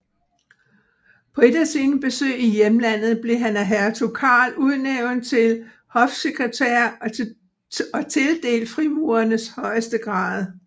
På et af sine besøg i hjemlandet blev han af hertug Karl udnævnt til hofsekretær og tildelt frimurernes højeste grad